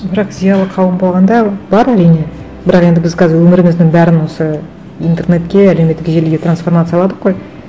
бірақ зиялы қауым болғанда бар әрине бірақ енді біз қазір өміріміздің бәрін осы интернетке әлеуметтік желіге трансформацияладық қой